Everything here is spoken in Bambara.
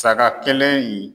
Saga kelen in